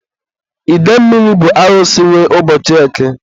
idemmili bụ Arusi nwe ụbọchị eke.